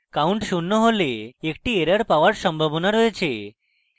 count শূন্য হলে একটি error পাওযার সম্ভাবনা রয়েছে